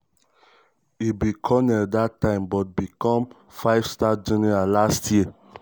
e be colonel dat time but become five-star general last year.